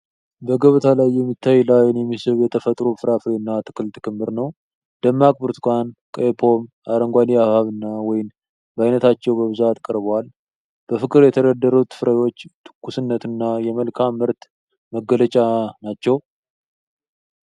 በገበያ ላይ የሚታይ፣ ለዓይን የሚስብ የተፈጥሮ ፍራፍሬና አትክልት ክምር ነው። ደማቅ ብርቱካን፣ ቀይ ፖም፣ አረንጓዴ ሐብሐብና ወይን በአይነታቸው በብዛት ቀርበዋል። በፍቅር የተደረደሩት ፍራፍሬዎች ትኩስነትንና የመልካም ምርት መገለጫ ናቸው።